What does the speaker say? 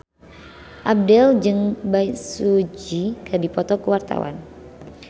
Abdel jeung Bae Su Ji keur dipoto ku wartawan